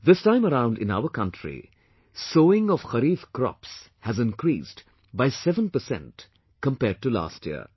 This time around in our country, sowing of kharif crops has increased by 7 percent compared to last year